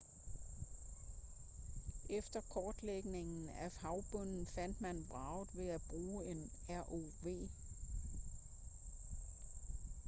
efter kortlægning af havbunden fandt man vraget ved at bruge en rov